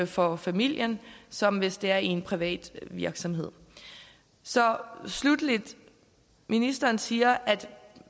for familien som hvis det er i en privat virksomhed så sluttelig ministeren siger at